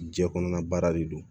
Jiɲɛ kɔnɔna baara de don